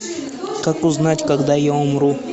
как узнать когда я умру